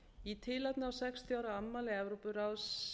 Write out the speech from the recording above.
í tilefni af sextíu ára afmæli evrópuráðsins